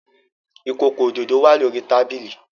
Ikoko ododo wa lori tabili